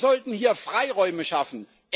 Wir sollten hier Freiräume schaffen.